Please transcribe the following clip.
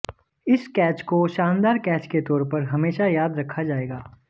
इस कैच को शानदार कैच के तौर पर हमेशा याद रखा जाएाग